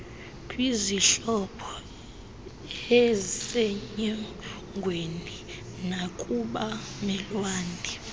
kwizihlobo eizsenyongweni nakubamelwane